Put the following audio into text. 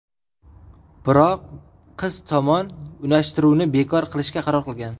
Biroq qiz tomon unashtiruvni bekor qilishga qaror qilgan.